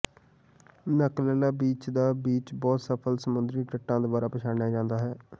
ਨਕਲਲਾ beach ਦਾ beach ਬਹੁਤ ਸਫ਼ਲ ਸਮੁੰਦਰੀ ਤੱਟਾਂ ਦੁਆਰਾ ਪਛਾਣਿਆ ਜਾਂਦਾ ਹੈ